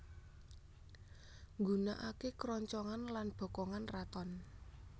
Nggunakaké kroncongan lan bokongan raton